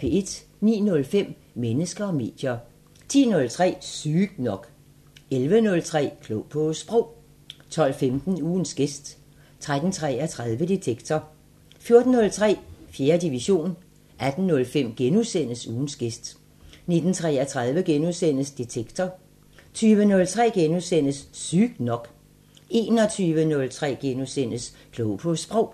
09:05: Mennesker og medier 10:03: Sygt nok 11:03: Klog på Sprog 12:15: Ugens gæst 13:33: Detektor 14:03: 4. division 18:05: Ugens gæst * 19:33: Detektor * 20:03: Sygt nok * 21:03: Klog på Sprog *